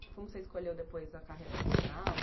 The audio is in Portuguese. Como você escolheu depois a carreira profissional?